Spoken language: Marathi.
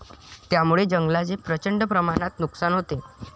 त्यामुळे जंगलाचे प्रचंड प्रमाणात नुकसान होते.